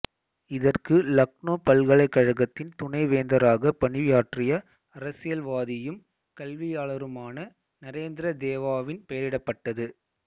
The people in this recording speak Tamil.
இதற்கு லக்னோ பல்கலைக்கழகத்தின் துணைவேந்தராக பணியாற்றிய அரசியல்வாதியும் கல்வியாளருமான நரேந்திர தேவாவின் பெயரிடப்பட்டது